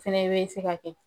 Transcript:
Fɛnɛ bɛ se ka kɛ